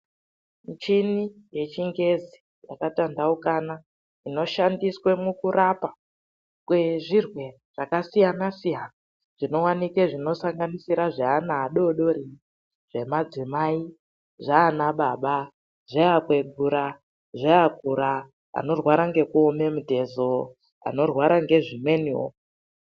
Michini yechingezi yakatanhaukana inoshandiswe mukurapa kwezvirwere zvakasiyana siyana zvinowanike zvinosangasira zveana adodori, zvemadzimai, zvaana baba, zveakwegura, zveakura, anorwara ngekuome mitezo, anorwara ngezvimweniwo.